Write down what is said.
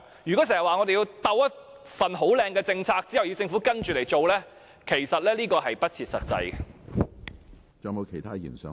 經常說要先制訂一項很"好看"的政策，然後政府才跟着來做，其實是不切實際的。